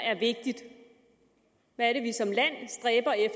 er vigtigt hvad det